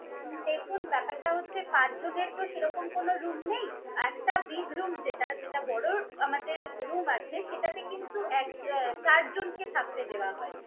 দেখুন ব্যাপারটা হচ্ছে পাঁচ জনের তো সেরকম কোন room নেই। একটা big room যেটা যেটা বড় আমাদের room আছে, সেটাতে কিন্তু এক আহ চারজনকে থাকতে দেওয়া হয়।